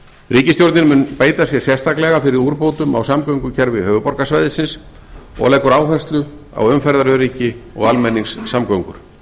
ríkisstjórnin mun beita sér sérstaklega fyrir úrbótum á samgöngukerfi höfuðborgarsvæðisins og leggur áherslu á umferðaröryggi og almenningssamgöngur